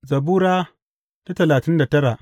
Zabura Sura talatin da tara